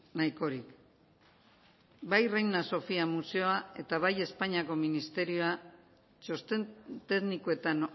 nahikorik bai reina sofía museoa eta bai espainiako ministerioa txosten teknikoetan